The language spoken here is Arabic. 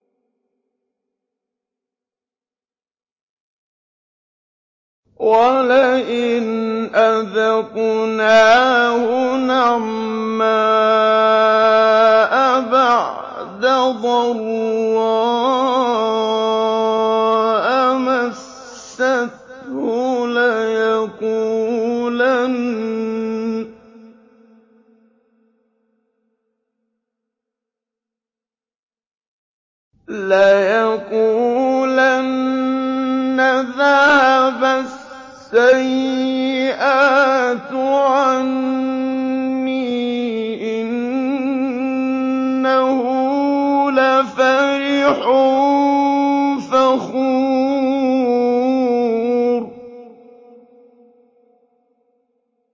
وَلَئِنْ أَذَقْنَاهُ نَعْمَاءَ بَعْدَ ضَرَّاءَ مَسَّتْهُ لَيَقُولَنَّ ذَهَبَ السَّيِّئَاتُ عَنِّي ۚ إِنَّهُ لَفَرِحٌ فَخُورٌ